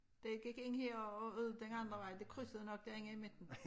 Det gik ind her og ud den andre vej det krydsede nok derinde i midten